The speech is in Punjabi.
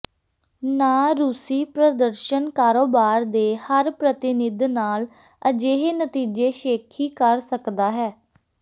ਨਾ ਰੂਸੀ ਪ੍ਰਦਰਸ਼ਨ ਕਾਰੋਬਾਰ ਦੇ ਹਰ ਪ੍ਰਤੀਨਿਧ ਨਾਲ ਅਜਿਹੇ ਨਤੀਜੇ ਸ਼ੇਖੀ ਕਰ ਸਕਦਾ ਹੈ